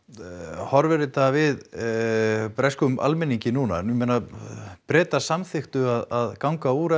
horfir þetta við breskum almenningi núna ég meina Bretar samþykktu að ganga úr